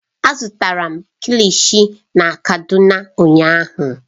Azụtara m kilishi na kano ụnyahụ.